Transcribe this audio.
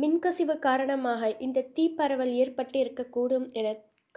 மின்கசிவு காரணமாக இந்த தீப்பரவல் ஏற்பட்டிருக்கக்கூடும் என